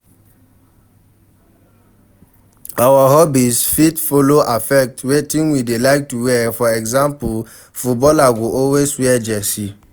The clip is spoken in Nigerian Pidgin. Our hobbies fit follow affect wetin we dey like wear for example footballer go always wear jersey